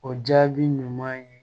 O jaabi ɲuman ye